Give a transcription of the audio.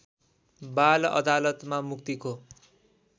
बाल अदालतमा मुक्तिको